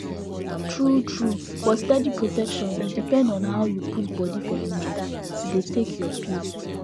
truetrue for steady protection e depend on how you put body for the matter to dey take your pill